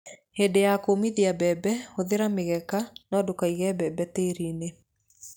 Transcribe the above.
Ihinda rĩa kũũmithia mbembe, hũthĩra mĩgeka no ndũkaige mbembe tĩĩri-inĩ.